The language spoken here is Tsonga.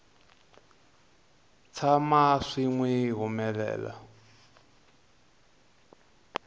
tshama swi n wi humelela